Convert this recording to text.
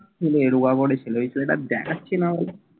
গেরুয়া পড়েছিল। এই ছেলেটা দেখাচ্ছে না বলে